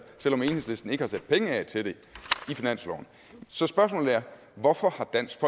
selv om enhedslisten ikke har sat penge af til det i finansloven så spørgsmålet er hvorfor har dansk